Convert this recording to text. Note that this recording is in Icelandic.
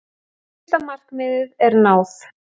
Fyrsta markmiði er náð.